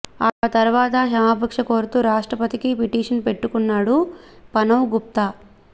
ఆ తర్వాత క్షమాభిక్ష కోరుతూ రాష్ట్రపతికి పిటిషన్ పెట్టుకున్నాడు పనవ్ గుప్తా